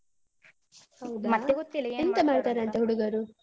ಹೌದಾ?